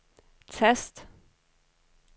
tast